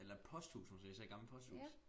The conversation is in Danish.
Eller et posthus måske sådan et gammelt posthus